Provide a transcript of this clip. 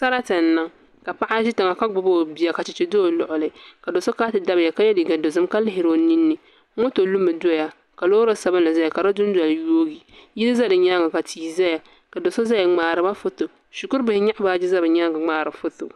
Sarati n niŋ ka paɣa zi tiŋa ka gbubi o bia ka chɛchɛ za o luɣili ka so so kana ti dabiya ka lihiri o ninni moto lumi doya ka loori sabinli zaya ka di dunoli yooi yilli za di yɛanga ka tii zaya ka do so zaya n mŋariba foto Shikuri bihi yɛɣi baaji za bi yɛanga n mŋaari foto.